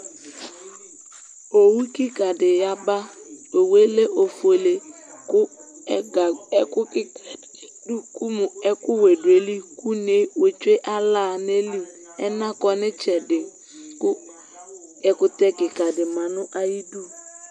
Owu ƙɩƙa ɖi ƴaba Owʊé lɛ oƒoélé, ƙʊ ɛku ƙɩƙa ɖu ayiɖʊ kʊ eƙʊ wɛ ɖʊ ayilɩ kʊ ʊné wétsoé ala ŋayili, ɛna ƙɔ nɩtsɛɖɩ Ƙʊ ɛƙʊtɛ ƙika ɖɩ ma ŋaƴɩɖʊ